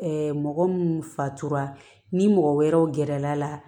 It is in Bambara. mɔgɔ minnu fatura ni mɔgɔ wɛrɛw gɛrɛla